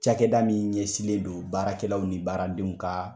Cakɛda min ɲɛsinlen do baarakɛlaw ni baaradenw ka